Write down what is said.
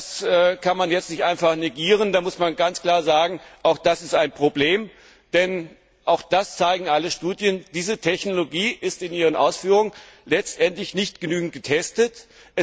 Auch das kann man jetzt nicht einfach negieren, da muss man ganz klar sagen, auch das ist ein Problem, denn alle Studien zeigen, dass diese Technologie in ihren Ausführungen letztendlich nicht genügend getestet